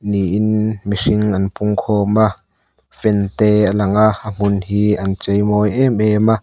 niin mihring an pung khawm a fan te a lang a a hmun hi an chei mawi em em a.